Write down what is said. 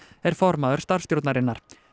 er formaður starfsstjórnarinnar